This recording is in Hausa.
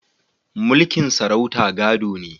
Mulkin sarauta gado ne